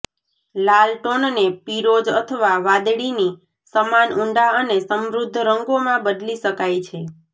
લાલ ટોનને પીરોજ અથવા વાદળીની સમાન ઊંડા અને સમૃદ્ધ રંગોમાં બદલી શકાય છે